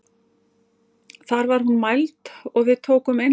Þar var hún mæld og við tókum innleggsnótu fyrir.